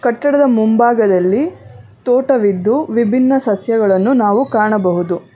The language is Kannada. ಕಟ್ಟಡದ ಮುಂಭಾಗದಲ್ಲಿ ತೋಟವಿದ್ದು ವಿಭಿನ್ನ ಸಸ್ಯಗಳನ್ನು ನಾವು ಕಾಣಬಹುದು.